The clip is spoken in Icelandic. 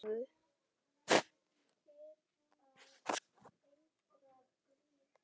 Lilli rak upp stór augu.